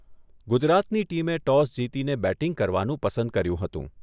ગુજરાતની ટીમે ટોસ જીતીને બેટિંગ કરવાનું પસંદ કર્યું હતું.